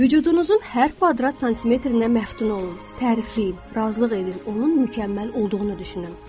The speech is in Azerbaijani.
Vücudunuzun hər kvadrat santimetrinə məftun olun, tərifləyin, razılıq edin, onun mükəmməl olduğunu düşünün.